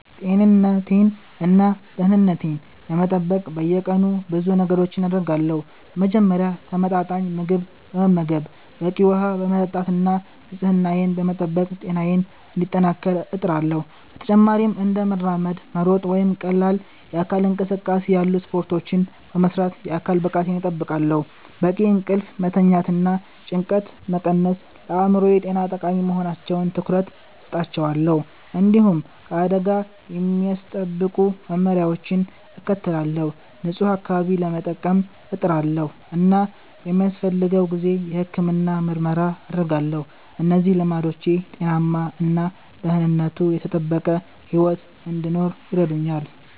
ጤንነቴን እና ደህንነቴን ለመጠበቅ በየቀኑ ብዙ ነገሮችን አደርጋለሁ። በመጀመሪያ ተመጣጣኝ ምግብ በመመገብ፣ በቂ ውሃ በመጠጣት እና ንጽህናዬን በመጠበቅ ጤናዬን እንዲጠናከር እጥራለሁ። በተጨማሪም እንደ መራመድ፣ መሮጥ ወይም ቀላል የአካል እንቅስቃሴ ያሉ ስፖርቶችን በመስራት የአካል ብቃቴን እጠብቃለሁ። በቂ እንቅልፍ መተኛትና ጭንቀትን መቀነስም ለአእምሮ ጤና ጠቃሚ በመሆናቸው ትኩረት እሰጣቸዋለሁ። እንዲሁም ከአደጋ የሚያስጠብቁ መመሪያዎችን እከተላለሁ፣ ንጹህ አካባቢ ለመጠቀም እጥራለሁ እና በሚያስፈልገው ጊዜ የሕክምና ምርመራ አደርጋለሁ። እነዚህ ልምዶች ጤናማ እና ደህንነቱ የተጠበቀ ሕይወት እንድኖር ይረዱኛል